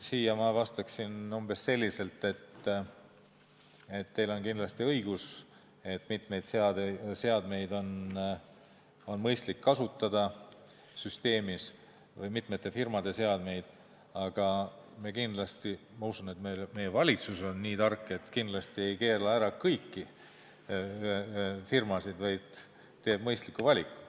Siin ma vastaksin umbes selliselt, et teil on kindlasti õigus, et süsteemis on mõistlik kasutada mitmeid seadmeid või mitme firma seadmeid, aga ma usun, et meie valitsus on nii tark, et ei keela ära kõiki firmasid, vaid teeb mõistliku valiku.